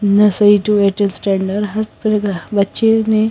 nursery two eight standard हर तरह क बच्चे ने--